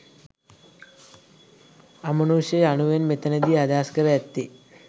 අමනුෂ්‍ය යනුවෙන් මෙතනදී අදහස් කර ඇත්තේ